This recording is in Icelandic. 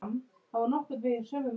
En bækur?